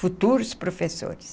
Futuros professores.